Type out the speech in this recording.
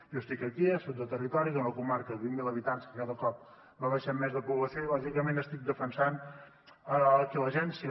jo estic aquí jo soc de territori d’una comarca de vint mil habitants que cada cop va baixant més la població i lògicament estic defensant aquí l’agència